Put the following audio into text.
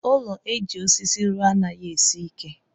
Ụlọ eji osisí rụọ anaghị esi ike.